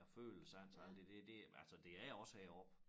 Æ følesans og alt det der det altså det er også heroppe